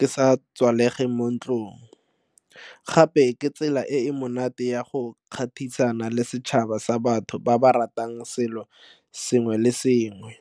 ke sa kwalege mo ntlong gape ke tsela e e monate ya go le setšhaba sa batho ba ba ratang selo sengwe le sengwe.